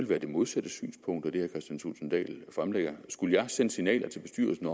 være det modsatte synspunkt af det kristian thulesen dahl fremlægger skulle jeg have sendt signaler til bestyrelsen